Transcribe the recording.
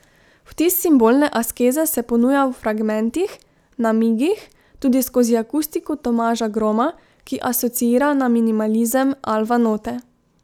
Vtis simbolne askeze se ponuja v fragmentih, namigih, tudi skozi akustiko Tomaža Groma, ki asociira na minimalizem Alva Note.